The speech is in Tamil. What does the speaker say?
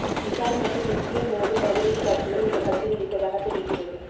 விஷால் மற்றும் மிஷ்கின் மோதும் அதிரடி காட்சிகள் இந்த படத்தில் இருப்பதாக தெரிகிறது